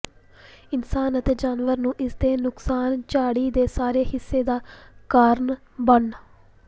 ਇਨਸਾਨ ਅਤੇ ਜਾਨਵਰ ਨੂੰ ਇਸ ਦੇ ਨੁਕਸਾਨ ਝਾੜੀ ਦੇ ਸਾਰੇ ਹਿੱਸੇ ਦਾ ਕਾਰਨ ਬਣ